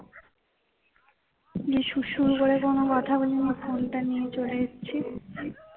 গিয়ে সুর সুর করে কোন কথা না বলে ফোনটা নিয়ে চলে এসেছি